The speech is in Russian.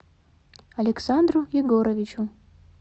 александру егоровичу